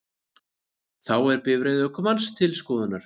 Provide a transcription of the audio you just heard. Þá er bifreið ökumanns til skoðunar